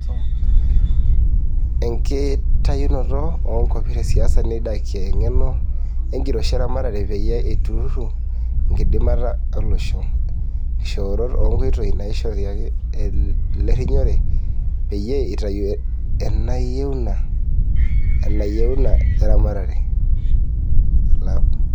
Enkitayunoto o nkopir e siasa neidakia engeno enkiroshi e ramatare peyia eitururu enkidimata olosho, nkishooroto o nkoitoi naishoriaki olerinyore peyie itayu inayeuna e ramatere.